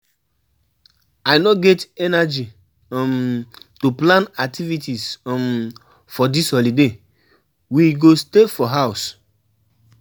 I no get energy um to plan activities um for dis holiday, we go stay for house.